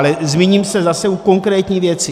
Ale zmíním se zase o konkrétní věci.